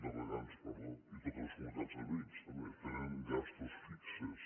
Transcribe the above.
de regants perdó i totes les comunitats de veïns també tenen gastos fixos